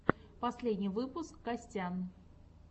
последний выпуск костян